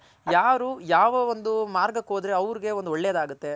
ಯಾರ್ ಯಾವ ಒಂದ್ ಮಾರ್ಗಕ್ ಹೋದ್ರೆ ಅವ್ರಗ್ ಒಂದ್ ಒಳ್ಳೇದ್ ಆಗುತ್ತೆ